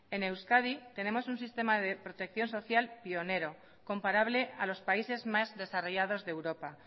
en euskadi tenemos un sistema de protección social pionero comparable a los países más desarrollados de europa